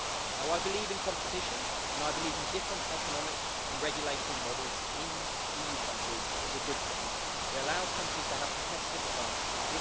Now I believe in competition, and I believe in different economic and regulatory models in EU countries is a good thing as it allows countries to have competitive advantages.